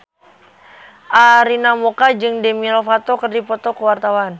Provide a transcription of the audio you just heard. Arina Mocca jeung Demi Lovato keur dipoto ku wartawan